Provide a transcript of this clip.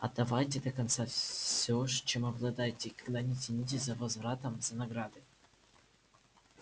отдавайте до конца всё чем обладаете и никогда не тянитесь за возвратом за наградой